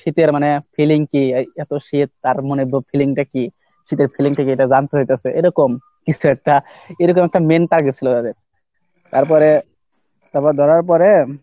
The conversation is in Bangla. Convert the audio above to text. শীতের মানে feeling কি এই এত শীত তার মনের feeling টা কি? শীতের feeling টা কি এটা জানতে হইতাছে এরকম কিছু একটা এরকম একটা ছিল তাদের, তারপরে তারপর ধরার পরে